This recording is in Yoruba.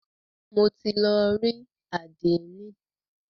Mo ti lọ rí àdénì.